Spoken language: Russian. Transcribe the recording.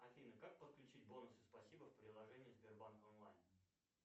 афина как подключить бонусы спасибо в приложении сбербанк онлайн